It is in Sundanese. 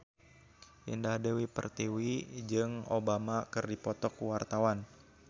Indah Dewi Pertiwi jeung Obama keur dipoto ku wartawan